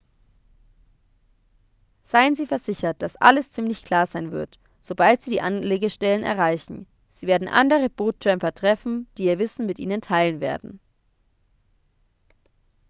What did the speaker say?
seien sie versichert dass alles ziemlich klar sein wird sobald sie die anlegestellen erreichen sie werden andere boot-tramper treffen die ihr wissen mit ihnen teilen werden